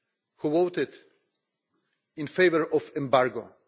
who voted in favour of embargo.